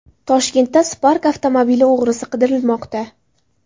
Toshkentda Spark avtomobili o‘g‘risi qidirilmoqda .